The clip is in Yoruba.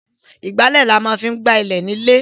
Ìgbálẹ̀ ni a máa ń fi ń gb ilẹ̀ nílé.